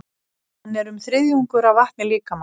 Hann er um þriðjungur af vatni líkamans.